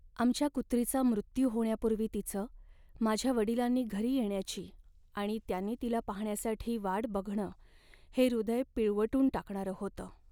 आमच्या कुत्रीचा मृत्यू होण्यापूर्वी तिचं, माझ्या वडिलांनी घरी येण्याची आणि त्यांनी तिला पाहण्यासाठी वाट बघणं हे हृदय पिळवटून टाकणारं होतं.